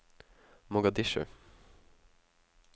Mogadishu